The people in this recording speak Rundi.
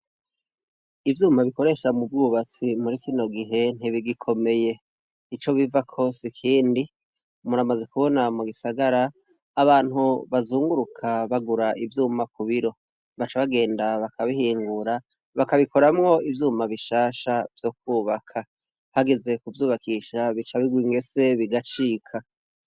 Ivyuma dukoresha mubwubatsi murikino gihe ntibigikomeye ico bivako sikindi muramaze kubona mugisagara abantu bazunguruka bagura ivyuma kubiro baca bagenda bakabihingura bakabikoramwo ivyuma bishasha vyokubaka hageze kjvyubakisha bicabirwa ingese